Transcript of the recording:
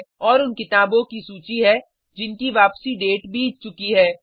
और उन किताबों की सूची है जिनकी वापसी डेट बीत चुकी है